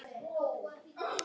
skógi vaxinn.